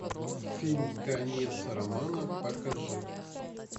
фильм конец романа покажи